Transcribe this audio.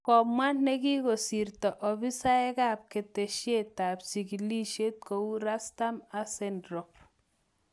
Komwa nekikosirto afisaekap keteshetap chigilet kou Rustam Aselderov